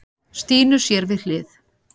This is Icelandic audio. Stínu sér við hlið.